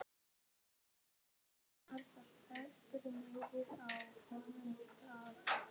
Á dyrnar var festur miði og á honum stóð